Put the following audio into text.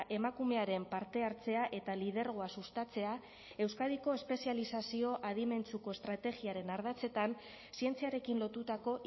emakumearen parte hartzea eta lidergoa sustatzea euskadiko espezializazio adimentsuko estrategiaren ardatzetan zientziarekin lotutako